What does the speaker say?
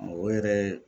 O yɛrɛ ye